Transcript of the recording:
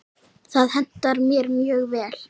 Það hentar mér mjög vel.